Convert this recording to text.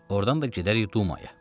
Ordan da gedərik Dumaya.